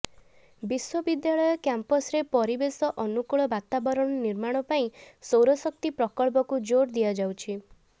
ବିଶ୍ୱବିଦ୍ୟାଳୟ କ୍ୟାମ୍ପସରେ ପରିବେଶ ଅନୁକୂଳ ବାତାବରଣ ନିର୍ମାଣ ପାଇଁ ସୌରଶକ୍ତି ପ୍ରକଳ୍ପକୁ ଜୋର ଦିଆଯାଉଛି